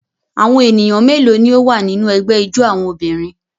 Awọn eniyan melo ni o wa ninu ẹgbẹ ijó awọn obirin?